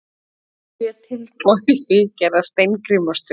Sjö tilboð í viðgerð á Steingrímsstöð